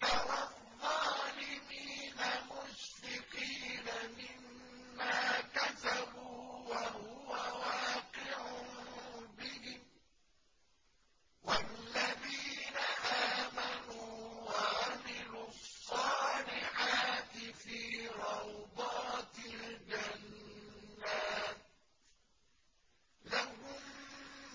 تَرَى الظَّالِمِينَ مُشْفِقِينَ مِمَّا كَسَبُوا وَهُوَ وَاقِعٌ بِهِمْ ۗ وَالَّذِينَ آمَنُوا وَعَمِلُوا الصَّالِحَاتِ فِي رَوْضَاتِ الْجَنَّاتِ ۖ لَهُم